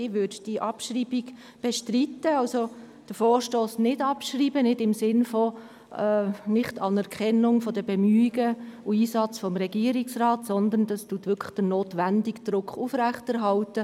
Ich will die Abschreibung bestreiten und somit den Vorstoss nicht abschreiben, dies nicht im Sinne einer Nichtanerkennung der Bemühungen und des Einsatzes des Regierungsrats, sondern um den notwendigen Druck aufrechtzuerhalten.